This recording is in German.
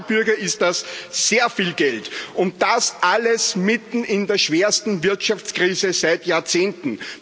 für normale Bürger ist das sehr viel Geld, und das alles mitten in der schwersten Wirtschaftskrise seit Jahrzehnten.